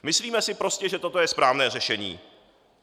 Myslíme si prostě, že toto je správné řešení.